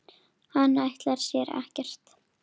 Hann ætlar sér ekkert.